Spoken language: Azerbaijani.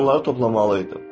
Onları toplamalı idim.